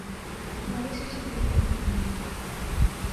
ларису сергеевну